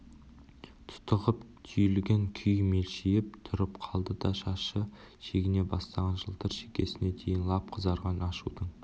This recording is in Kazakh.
тұтығып түйілген күй мелшиіп тұрып қалды да шашы шегіне бастаған жылтыр шекесіне дейін лап қызарған ашудың